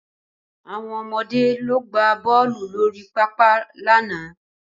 Àwọn ọmọde lọ gbá bọ́ọ̀lù lórí pápá lánàá